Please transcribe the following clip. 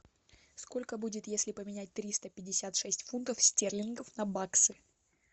сколько будет если поменять триста пятьдесят шесть фунтов стерлингов на баксы